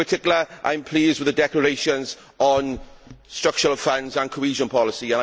In particular, I am pleased with the declarations on the structural funds and cohesion policy.